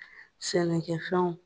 Sɛnɛkɛ fɛnw.